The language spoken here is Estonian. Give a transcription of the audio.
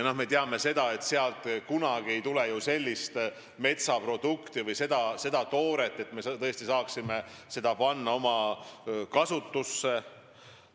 Me teame seda, et sealt ei tule kunagi sellist metsaprodukti või tooret, mille me saaksime tõesti kasutusele võtta.